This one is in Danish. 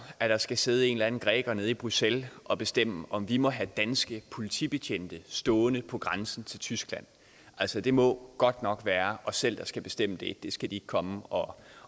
at der skal sidde en eller anden græker nede i bruxelles og bestemme om vi må have danske politibetjente stående på grænsen til tyskland altså det må godt nok være os selv der skal bestemme det det skal de ikke komme og